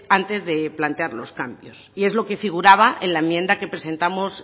antes de plantear los cambios y es lo que figuraba en la enmienda que presentamos